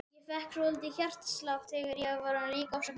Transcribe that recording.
Ég fékk svolítinn hjartslátt, en varð líka ofsa kát.